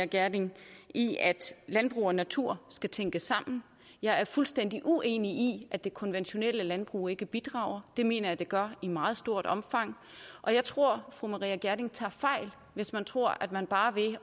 gjerding i at landbrug og natur skal tænkes sammen jeg er fuldstændig uenig i at det konventionelle landbrug ikke bidrager det mener jeg det gør i meget stort omfang og jeg tror at fru maria reumert gjerding tager fejl hvis man tror at man bare ved